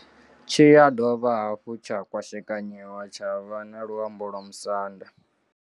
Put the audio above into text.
Tshi ya dovha hafhu tsha kwashekanyiwa tsha vha na luambo lwa musanda.